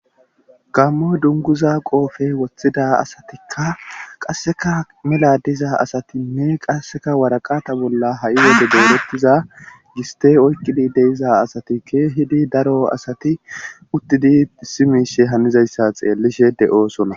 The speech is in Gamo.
Gamo dunguza qoofey woththida asatikka qasseka meladiza asatinne qasseka waraqata bolla ha7i welde deelettiza giste oykkidi deyiza asatike hidi daro asati uttidi simiishe hanizayssa xeellishe de7oosona